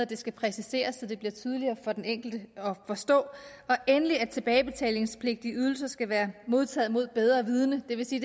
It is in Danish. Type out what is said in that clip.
det skal præciseres så det bliver tydeligere for den enkelte at forstå og endelig at tilbagebetalingspligtige ydelser skal være modtaget mod bedre vidende det vil sige